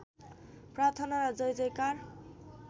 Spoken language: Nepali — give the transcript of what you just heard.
प्रार्थना र जयजयकार